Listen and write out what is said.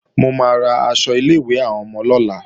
Mo máa ra aṣọ ilé-ìwé àwọn ọmọ lọ́la